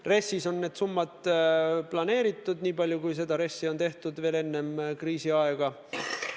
RES-is on need summad planeeritud, nii palju kui RES-i veel enne kriisiaega tehtud sai.